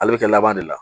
Ale bɛ kɛ laban de la